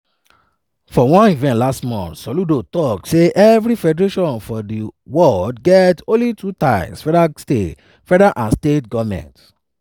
for one event last month soludo tok say everi federation for di world get only two tiers: federal and state governments.